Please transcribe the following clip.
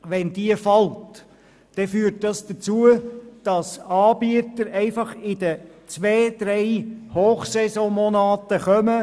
Wenn diese entfällt, führt das dazu, dass Anbieter einfach nur in den zwei bis drei Monaten der Hochsaison kommen.